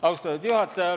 Austatud juhataja!